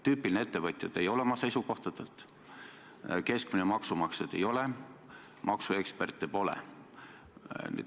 Tüüpiline ettevõtja te oma seisukohtadelt ei ole, keskmine maksumaksja te ei ole, maksuekspert te pole.